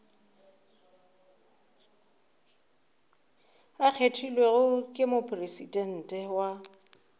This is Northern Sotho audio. a kgethilwego ke mopresidente wa